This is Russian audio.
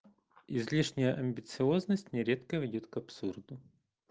излишняя амбициозность нередко ведёт к абсурду